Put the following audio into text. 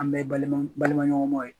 An bɛ ye balima balimaɲɔgɔnmaw ye